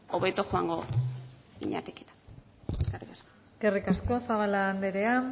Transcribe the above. hobeto joango zinatekete eskerrik asko eskerrik asko zabala andrea